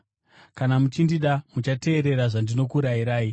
“Kana muchindida, muchateerera zvandinokurayirai.